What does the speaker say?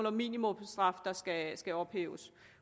at minimumsstraffen skal skal ophæves